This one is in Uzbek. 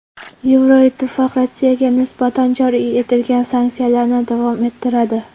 Yevroittifoq Rossiyaga nisbatan joriy etilgan sanksiyalarni davom ettiradi.